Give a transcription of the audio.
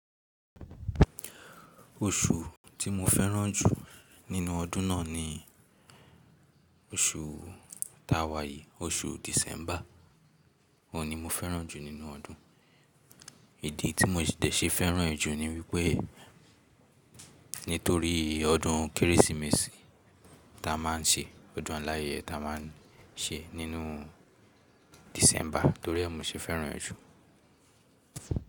Oṣù tí mo fẹ́ràn jù nínú ọdún náà ni oṣù ta wàyí, oṣù December. Òun ni mo fẹ́ràn jù nínú ọdún. Ìdí tí mo dẹ̀ ṣe fẹ́ràn ẹ jù ni wípé nítorí ọdún Kérésìmesì ta a máa ń ṣe, ọdún láàyè ta a máa ń ṣe nínú December torí ẹ́ mo ṣe fẹ́ràn ẹ jù.